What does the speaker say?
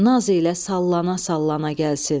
Naz ilə sallana-sallana gəlsin.